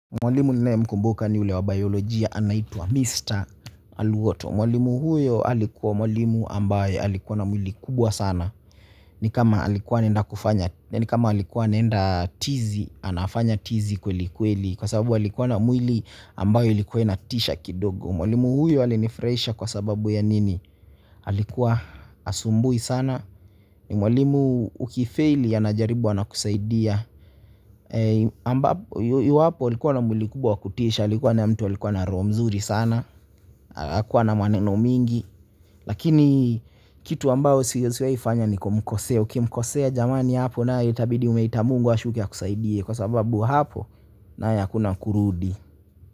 Mwalimu ninayemkumbuka ni ule wa biolojia anaitwa Mr. Alwoto mwalimu huyo alikuwa mwalimu ambaye alikuwa na mwili kubwa sana ni kama alikuwa anaenda tizi, anafanya tizi kwelikweli kwa sababu alikuwa na mwili ambayo ilikuwa inatisha kidogo mwalimu huyo alinifurahisha kwa sababu ya nini? Alikuwa hasumbui sana mwalimu ukifeili anajaribu anakusaidia iwapo alikuwa na mwili kubwa wa kutisha alikuwa na mtu alikuwa na roho mzuri sana hakuwa na maneno mingi lakini kitu ambayo usiwaifanya ni kumkosea ukimkosea jamani hapo na itabidi umeita Mungu ashuke akusaidie kwa sababu hapo nayo hakuna kurudi.